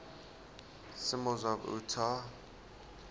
symbols of utah